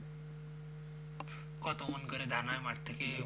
কত ওজন করে ধান হয় মাঠ থেকে?